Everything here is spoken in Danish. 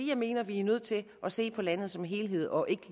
jeg mener vi er nødt til at se på landet som helhed og ikke